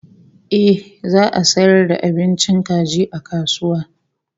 Ehh za'a sayar da abincin kaji a kasuwa